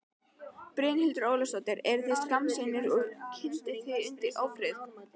Brynhildur Ólafsdóttir: Eruð þið skammsýnir og kyndið þið undir ófriði?